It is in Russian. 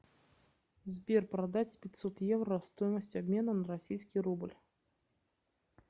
сбер продать пятьсот евро стоимость обмена на российский рубль